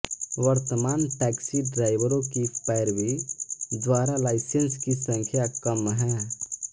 वर्तमान टैक्सी ड्राइवरों की पैरवी द्वारा लाइसेंस की संख्या कम हैं